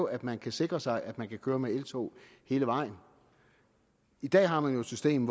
at man kan sikre sig at man kan køre med eltog hele vejen i dag har man jo et system